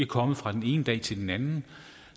kommet fra den ene dag til den anden